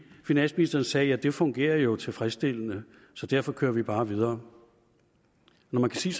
finansministeren sagde det fungerer jo tilfredsstillende så derfor kører vi bare videre når man kan sige